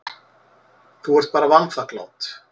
Þú ert bara vanþakklát.